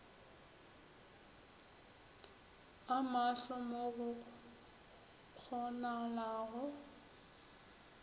o maahlo mo go kgonagalago